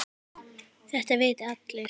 Þetta vita allir.